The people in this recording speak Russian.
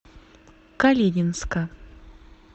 калининска